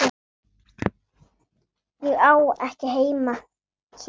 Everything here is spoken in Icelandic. Ég á ekki heima hér.